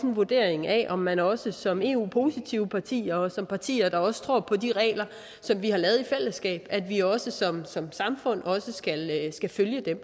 vurdering af om man også som eu positivt parti og som partier der også tror på de regler som vi har lavet i fællesskab at vi også som som samfund skal følge dem